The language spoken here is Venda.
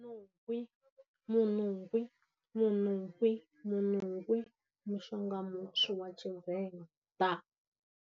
Wi, muṋuwi, muṋuwi, muṋuwi, mushonga mutswu wa Tshivenḓa.